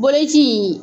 Bulɛti in